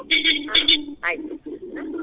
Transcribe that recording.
ಆಯ್ತು.